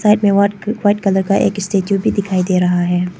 यहां पे white white colour का एक स्टैचू भी दिखाई दे रहा है।